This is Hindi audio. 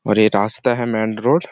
और ये रास्ता है मेनरोड --